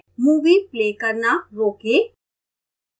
movie play करना रोकें